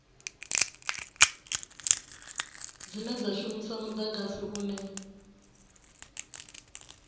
dzine dza shumisa mudagasi une